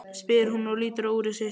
spyr hún og lítur á úrið sitt.